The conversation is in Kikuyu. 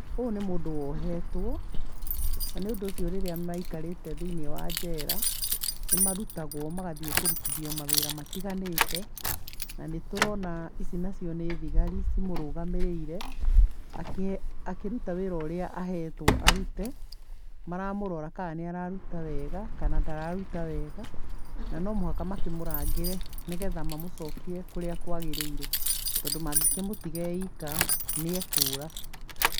Ũyũ nĩ mũndũ wohetwo na nĩ ũndũ ũcio rĩrĩa maikarĩte thĩiniĩ wa njera nĩ marutagwo magathiĩ kũrutithio mawĩra matiganĩte. Na nĩ tũrona ici nacio nĩ thigari cimũrũgamĩrĩire akĩruta wĩra ũrĩa ahetwo arute. Maramũrora kana nĩ araruta wega kana ndararuta wega na no mũhaka makĩmũrangĩre nĩ getha mamũcokie kũrĩa kwagĩrĩire tondũ mangĩkĩmũtiga eika nĩ ekũra.